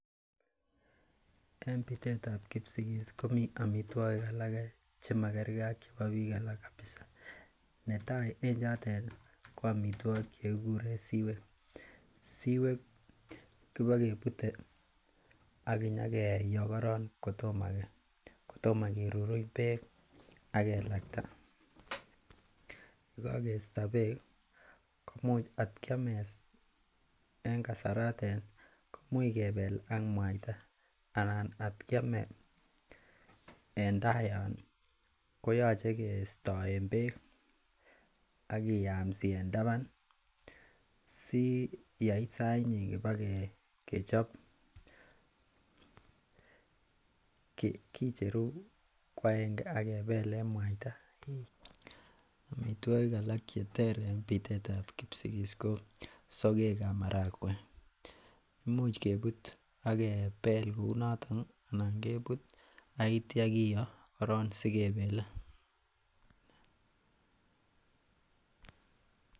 En bitetab kipsigis komii amitwogik alak chemakergee ak chebo biik alak kabisa netai en chotet ih ko amitwogik chekikuren siwek, siwek kobakebute ak kinyokeyoo korong kotomo keruruny beek ak kelakta, yekakesto beek ih komuch atkiome en kasaratet kemuch kebel ak mwaita ana kot kiome en tai yon ih koyoche kistoen beek akiyamsi en taban ih si yeit sait nyin bakechop kicheru ko agenge akebelen mwaita. Amitwogik alak cheter en bitetab kipsigis ko sogek ab marakwek, imuch kebut ak kebel kounoton ih ak itya kiyoo korong sikebele.